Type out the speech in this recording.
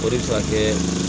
O de ka kɛ